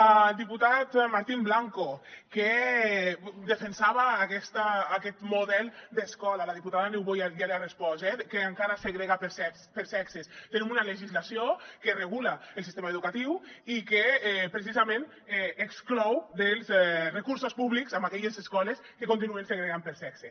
al diputat martín blanco que defensava aquest model d’escola la diputada niubó ja li ha respost que encara segrega per sexes tenim una legislació que regula el sistema educatiu i que precisament exclou dels recursos públics aquelles escoles que continuen segregant per sexe